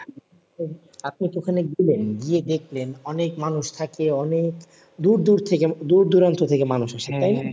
আপনি তো ওখানে গেলেন গিয়ে দেখলেন অনেক মানুষ থাকে। অনেক দূর দূর থেকে দূর দূরান্ত থেকে মানুষ আসে।